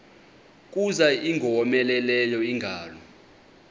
kuza ingowomeleleyo ingalo